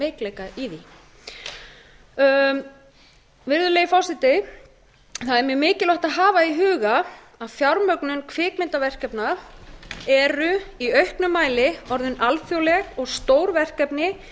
veikleika í því virðulegi forseti það er mjög mikilvægt að hafa í huga að fjármögnun kvikmyndaverkefna eru í auknum mæli orðin alþjóðleg og stór verkefni